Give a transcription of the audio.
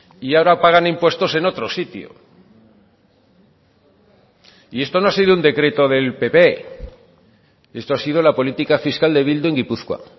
y ahora pagan impuestos en otro sitio y esto no ha sido un decreto del pp esto ha sido la política fiscal de bildu en gipuzkoa